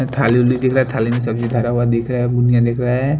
थाली उल्ली दिख रहा है थाली में सब्जी धरा हुआ दिख रहा है बुनिया दिख रहा है।